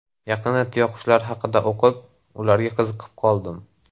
Yaqinda tuyaqushlar haqida o‘qib, ularga qiziqib qoldim.